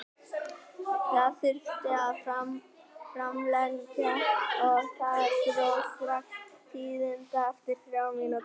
Það þurfti að framlengja og þar dró strax til tíðinda eftir þrjár mínútur.